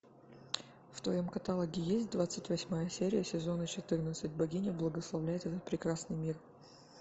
в твоем каталоге есть двадцать восьмая серия сезона четырнадцать богиня благословляет этот прекрасный мир